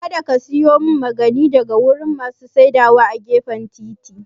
Kada ka siya maganin daga wurin masu saidawa a gefen titi